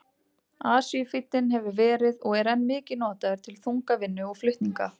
Asíufíllinn hefur verið og er enn mikið notaður til þungavinnu og flutninga.